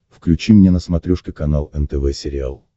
включи мне на смотрешке канал нтв сериал